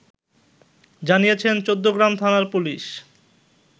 জানিয়েছেন চৌদ্দগ্রাম থানার পুলিশ